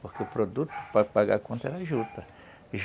Porque o produto, para pagar a conta, era juta.